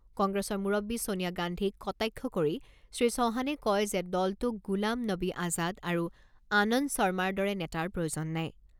কংগ্ৰেছৰ মুৰববী ছোনিয়া গান্ধীক কটাক্ষ কৰি শ্ৰীচৌহানে কয় যে দলটোক গুলাম নবী আজাদ আৰু আনন্দ শৰ্মাৰ দৰে নেতাৰ প্ৰয়োজন নাই।